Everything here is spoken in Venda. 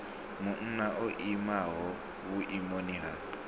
munna o imaho vhuimoni ha